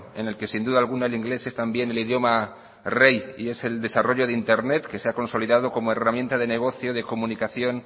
en el que sin duda alguna el inglés es también el idioma rey y es el desarrollo de internet que se ha consolidado como herramienta de negocio de comunicación